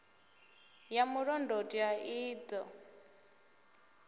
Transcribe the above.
ya mulondoti a i ṱo